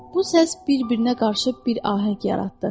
Bu səs bir-birinə qarışıb bir ahəng yaratdı.